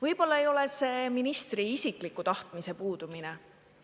Võib-olla ei ole see ministri isikliku tahtmise puudumine.